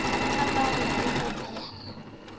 a bala le ho boha